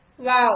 wow